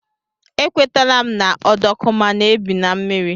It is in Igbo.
E kwetela m na ọdọkụma na-ebi na mmiri.